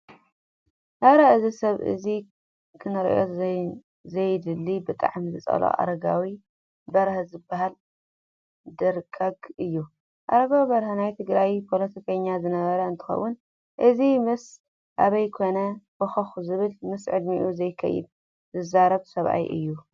ኣረ! እዚ ሰብ እዙይ ክርኦ ዘይደሊ ብጣዕሚ ዝፀልኦ ኣረጋዊ በርሀ ዝበሃል ደርጓግ እዩ። ኣረጋዊ በርሀ ናይ ትግራይ ፖሎቲከኛ ዝነበረ እንትከውን ሕዚ ምስ ኣብይ ኮይኑ ቦኽኽ ዝብል ምስ ዕድምኡ ዘይከይድ ዝዛረብ ሰብኣይ እዩ።